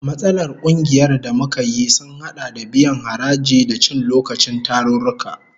Matsalar kungiyar da muka yi sun hada da biyan haraji, da cin lokacin tarurruka